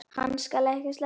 Hann skal ekki sleppa!